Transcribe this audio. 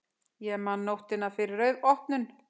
Ég man nóttina fyrir opnun.